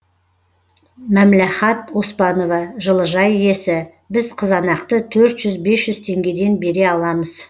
мәмләхат оспанова жылыжай иесі біз қызанақты төрт жүз бес жүз теңгеден бере аламыз